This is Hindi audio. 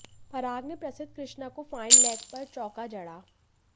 पराग ने प्रसिद्ध कृष्णा को फाइन लेग पर चौका जड़ा